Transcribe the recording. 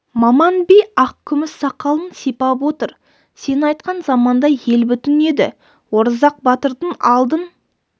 маман би ақ күміс сақалын сипап отыр сен айтқан заманда ел бүтін еді оразақ батырдың алдын